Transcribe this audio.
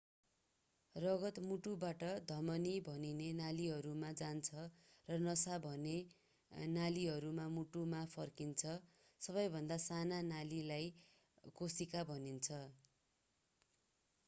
रगत मुटुबाट धमनी भनिने नलीहरूमा जान्छ र नसा भनिने नलीहरूमा मुटुमा फर्कन्छ सबैभन्दा साना नलीलाई केशिका भनिन्छ